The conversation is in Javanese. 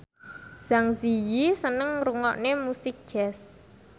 Zang Zi Yi seneng ngrungokne musik jazz